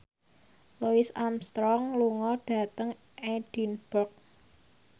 Louis Armstrong lunga dhateng Edinburgh